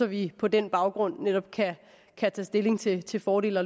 vi på den baggrund netop kan tage stilling til til fordele